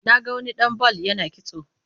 Na ga wani ɗan bal ya sha kitso